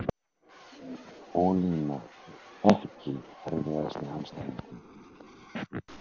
ólína Ekki erfiðasti andstæðingur?